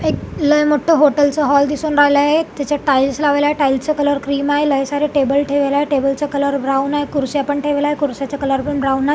एक लई मोठा हॉटेल चा हॉल दिसून राहिल आहे एक त्याचा टाइल्स लावल्या आहे टाइल्स चा कलर क्रीम आहे लई सारे टेबल ठेवल आहे टेबल चा कलर ब्राऊन हाय खुर्च्या पण ठेवल आहे खुर्च्याच कलर पण ब्राऊन आ --